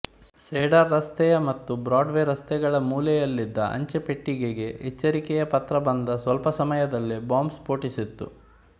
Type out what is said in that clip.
cedar ರಸ್ತೆಯ ಮತ್ತು Broadway ರಸ್ತೆಗಳ ಮೂಲೆಯಲ್ಲಿದ್ದ ಅಂಚೆಪೆಟ್ಟಿಗೆಗೆ ಎಚ್ಚರಿಕೆಯ ಪತ್ರ ಬಂದ ಸ್ವಲ್ಪ ಸಮಯದಲ್ಲೇ ಬಾಂಬ್ ಸ್ಪೋಟಿಸಿತ್ತು